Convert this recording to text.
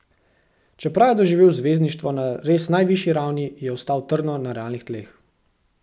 Čeprav je doživel zvezdništvo na res najvišji ravni, je ostal trdno na realnih tleh.